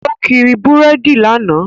Ó kiri búrèdì lánàá